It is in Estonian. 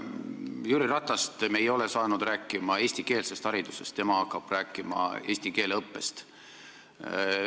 Me ei ole saanud Jüri Ratast rääkima eestikeelsest haridusest, tema hakkab rääkima eesti keele õppest.